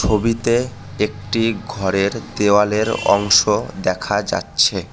ছবিতে একটি ঘরের দেওয়ালের অংশ দেখা যাচ্ছে।